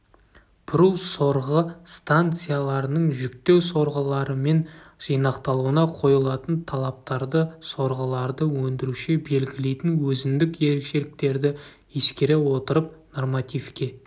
бұру сорғы станцияларының жүктеу сорғыларымен жинақталуына қойылатын талаптарды сорғыларды өндіруші белгілейтін өзіндік ерекшеліктерді ескере отырып нормативке